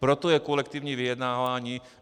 Proto je kolektivní vyjednávání.